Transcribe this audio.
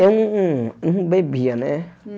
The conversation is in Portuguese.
Eu não não não bebia, né? Hum